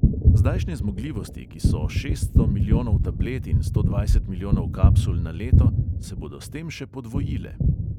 Zdajšnje zmogljivosti, ki so šeststo milijonov tablet in sto dvajset milijonov kapsul na leto, se bodo s tem še podvojile.